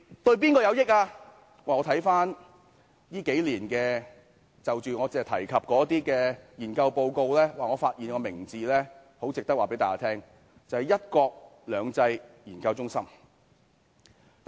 我翻閱我提及這數年的研究報告，發現有一個名字很值得告訴大家知道，便是一國兩制研究中心。